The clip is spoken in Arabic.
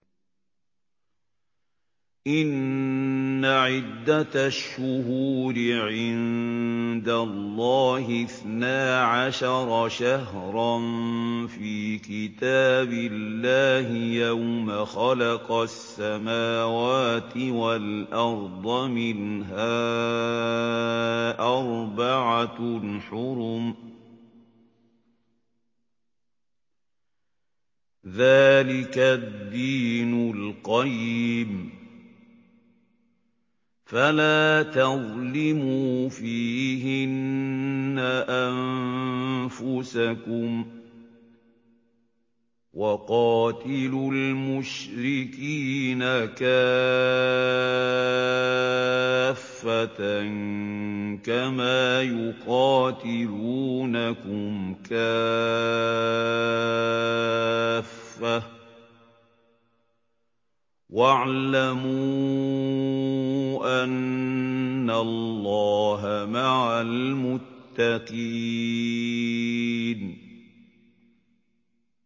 إِنَّ عِدَّةَ الشُّهُورِ عِندَ اللَّهِ اثْنَا عَشَرَ شَهْرًا فِي كِتَابِ اللَّهِ يَوْمَ خَلَقَ السَّمَاوَاتِ وَالْأَرْضَ مِنْهَا أَرْبَعَةٌ حُرُمٌ ۚ ذَٰلِكَ الدِّينُ الْقَيِّمُ ۚ فَلَا تَظْلِمُوا فِيهِنَّ أَنفُسَكُمْ ۚ وَقَاتِلُوا الْمُشْرِكِينَ كَافَّةً كَمَا يُقَاتِلُونَكُمْ كَافَّةً ۚ وَاعْلَمُوا أَنَّ اللَّهَ مَعَ الْمُتَّقِينَ